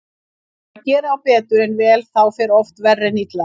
Þegar gera á betur en vel þá fer oft verr en illa.